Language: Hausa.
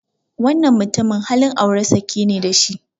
Wannan mutumin halin aure sake ne da shi.